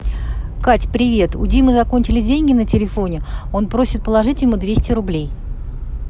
кать привет у димы закончились деньги на телефоне он просит положить ему двести рублей